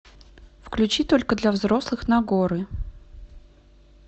включи только для взрослых нагоры